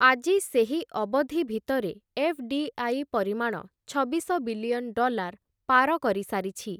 ଆଜି ସେହି ଅବଧି ଭିତରେ ଏଫ୍‌.ଡି.ଆଇ. ପରିମାଣ ଛବିଶ ବିଲିଅନ୍ ଡଲାର ପାର କରିସାରିଛି ।